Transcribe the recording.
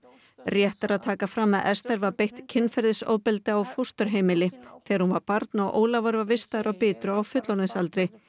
rétt er að taka fram að Esther var beitt kynferðisofbeldi á fósturheimili þegar hún var barn og Ólafur var vistaður á Bitru á fullorðinsaldri